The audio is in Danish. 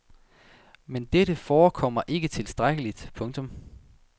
Men dette forekommer ikke tilstrækkeligt. punktum